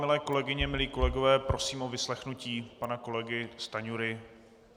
Milé kolegyně, milí kolegové, prosím o vyslechnutí pana kolegy Stanjury.